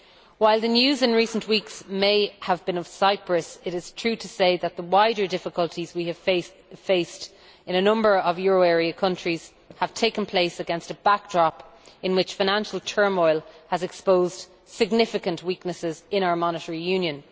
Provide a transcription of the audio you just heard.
While the news in recent weeks may have been about Cyprus, it is true to say that the wider difficulties we have faced in a number of euro area countries have taken place against a backdrop in which financial turmoil has exposed significant weaknesses in our monetary union.